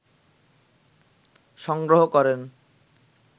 সংগ্রহ করেন